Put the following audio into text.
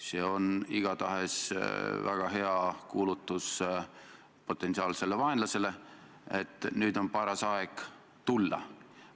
See on väga hea kuulutus potentsiaalsele vaenlasele, et nüüd on paras aeg tulla.